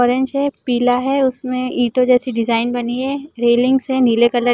orange हैं पीला हैं उस में इटो जैसी डिजाईन बनी हैं रैलिंग है नीले कलर की --